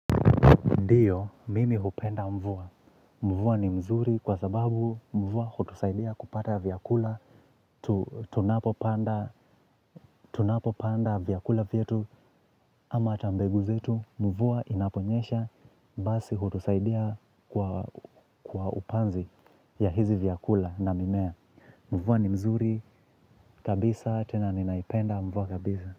Ndiyo, mimi hupenda mvua. Mvua ni mzuri kwa sababu mvua hutusaidia kupata vyakula tunapopanda vyakula vyetu ama ata mbegu zetu mvua inaponyesha basi hutusaidia kwa upanzi ya hizi vyakula na mimea. Mvua ni mzuri kabisa tena ninaipenda mvua kabisa.